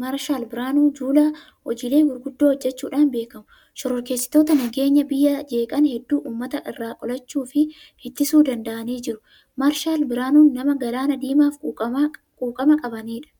Maarshaal Birhaanuu Juulaa hojiilee gurguddaa hojjechuudhaan beekamu. Shororkeessitoota nageenya biyyaa jeeqan hedduu uummata irraa qolachuu fi ittisuu danda'anii jiru. Maarshaal Birhaanuun nama galaana Diimaaf quuqama qabanidha.